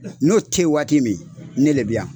N'o tɛ ye waati min ne le bɛ yan.